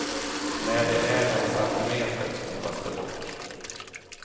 När de är en centimeter spolas de bort.